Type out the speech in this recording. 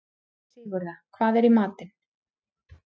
Sigurða, hvað er í matinn?